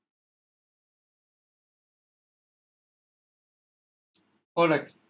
all right